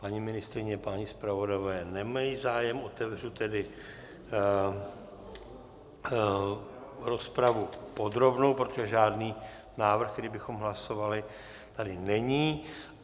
Paní ministryně, páni zpravodajové nemají zájem, otevřu tedy rozpravu podrobnou, protože žádný návrh, který bychom hlasovali, tady není.